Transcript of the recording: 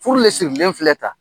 Furu le sigilen filɛ ta.